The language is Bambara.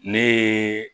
Ne ye